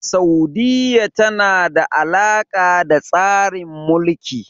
Saudiyya tana da alaƙa da tsarin Mulki.